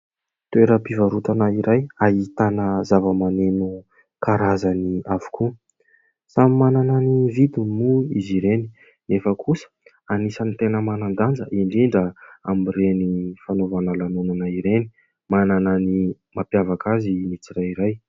Toeram-pivarotana iray ahitana zavamaneno karazany avokoa. Samy manana ny vidiny moa izy ireny nefa kosa anisany teny manan-danja indrindra amin'ireny fanaovana lanonana ireny. Manana ny mampiavaka azy ny tsirairay.